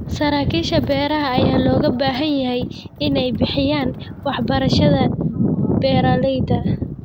Saraakiisha beeraha ayaa looga baahan yahay in ay bixiyaan waxbarashada beeralayda.